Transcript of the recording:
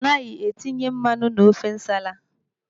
Anaghị etinye mmanụ n'ofe nsala.